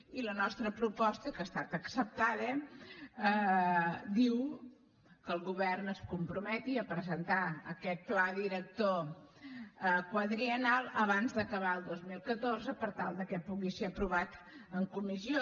i la nostra proposta que ha estat acceptada diu que el govern es comprometi a presentar aquest pla director quadriennal abans d’acabar el dos mil catorze per tal que pugui ser aprovat en comissió